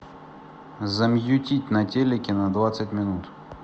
замьютить на телике на двадцать минут